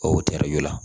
O teri la